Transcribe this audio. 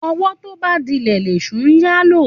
Òwó tóbà dílè lẹsú yà ló.